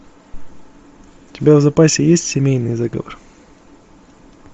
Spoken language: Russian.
у тебя в запасе есть семейный заговор